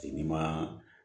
Tigi ma